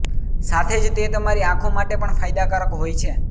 સાથે જ તે તમારી આંખો માટે પણ ફાયદાકારક હોય છે